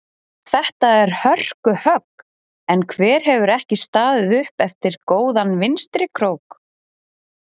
Þetta er hörku högg en hver hefur ekki staðið upp eftir góðan vinstri krók?